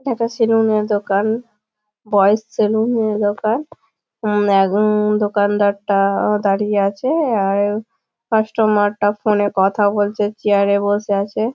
এইটা সেলুনের দোকান। বয়েজে সেলুনের দোকান। দোকনাদারটা দাঁড়িয়ে আছে কাস্টোমারটা ফোনে কথা বলছে চেয়ার এ বসে আছে।